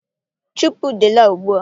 Chụpụ udele a ugbu a!